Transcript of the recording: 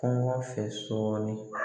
Kɔngɔ fɛ sɔɔni